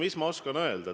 Mis ma oskan öelda?